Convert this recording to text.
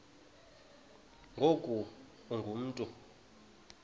ngoku ungu mntu